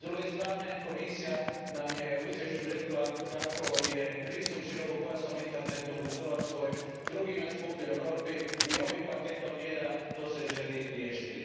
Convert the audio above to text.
S druge strane, Komisija nam je u izvješću rekla da je pristup širokopojasnom internetu u Hrvatskoj, drugi najskuplji u Europi i ovim paketom mjera to se želi riješiti.